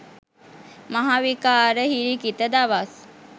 මහ විකාර හිරිකිත දවස්.